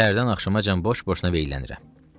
Səhərdən axşamacan boş-boşuna veylənirəm.